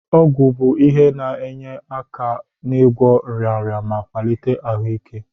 Ọgwụ bụ ihe na-enye aka n'ịgwọ nrịnrịa ma kwalịtekwa ahụike.